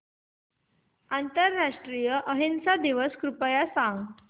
आंतरराष्ट्रीय अहिंसा दिवस कृपया सांगा